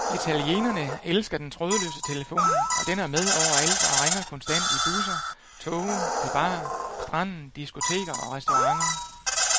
Italienerne elsker den trådløse telefon, og den er med overalt og ringer konstant i busser, toge, på bar, stranden, diskoteker og restauranter.